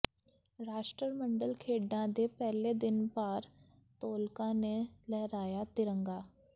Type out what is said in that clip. ਰਾਸ਼ਟਰਮੰਡਲ ਖੇਡਾਂ ਦੇ ਪਹਿਲੇ ਦਿਨ ਭਾਰ ਤੋਲਕਾਂ ਨੇ ਲਹਿਰਾਇਆ ਤਿਰੰਗਾ